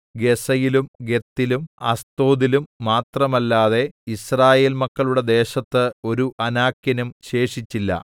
ഗസ്സയിലും ഗത്തിലും അസ്തോദിലും മാത്രമല്ലാതെ യിസ്രായേൽ മക്കളുടെ ദേശത്ത് ഒരു അനാക്യനും ശേഷിച്ചില്ല